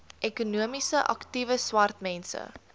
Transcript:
ekonomies aktiewe swartmense